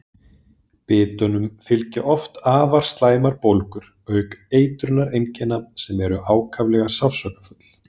Bitunum fylgja oft afar slæmar bólgur auk eitrunareinkenna sem eru ákaflega sársaukafull.